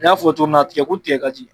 N'i y'a fɔ cogo min na tigɛko tigɛ ka ci